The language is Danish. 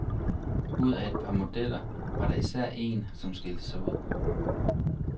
Ud af et par modeller var der især en, som skilte sig ud .